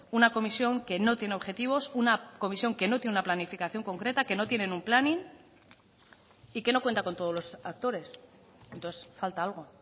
una comisión que no tiene objetivos una comisión que no tiene una planificación concreta que no tienen un planning y que no cuenta con todos los actores entonces falta algo